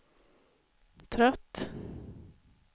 trött